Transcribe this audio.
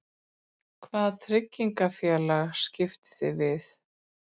Hvaða tryggingafélag skiptið þið við?